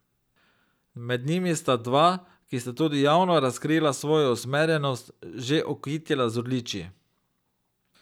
Med njimi sta se dva, ki sta tudi javno razkrila svojo usmerjenost, že okitila z odličji.